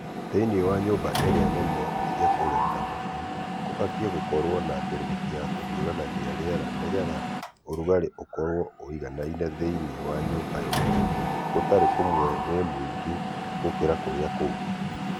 Thĩinĩ wa nyũmba iria nene cia kũrerera tũcui kũbatiĩ gũkorwo na mbĩrĩrĩki ya kũhiũranagia rĩera nĩgetha ũrugarĩ ũkorwo ũiganaine thĩinĩ wa nyũmba yothe gũtarĩ kũmwe wĩ mũingĩ gũkĩra kũrĩa kũngĩ.